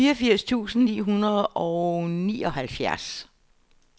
fireogfirs tusind ni hundrede og nioghalvfjerds